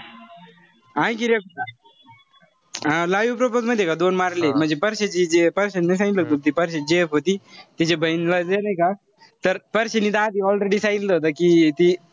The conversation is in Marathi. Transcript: live propose माहितीय का दोन मारलेय म्हणजे परश्याची जी परश्यान सांगितलं होत न परश्याची gf होती. तिची बहीण नाई का. तर परश्याने तर आधी already सांगितलं होत कि,